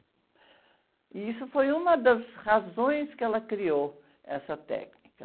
E isso foi uma das razões que ela criou essa técnica.